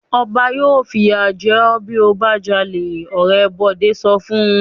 "Ọba yóò fìyà jẹ ọ́ bí ó bá jalè!" Ọ̀rẹ́ Bọ̀dé sọ fún un.